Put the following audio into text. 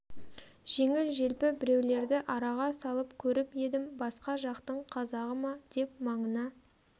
жеңіл-желпі біреулерді араға салып көріп едім басқа жақтың қазағы деп маңына